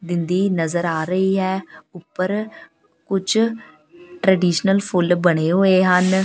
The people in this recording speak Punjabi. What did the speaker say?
ਦਿੰਦੀ ਨਜ਼ਰ ਆ ਰਹੀ ਹੈ ਉੱਪਰ ਕੁਝ ਟਰੈਡੀਸ਼ਨਲ ਫੁੱਲ ਬਣੇ ਹੋਏ ਹਨ।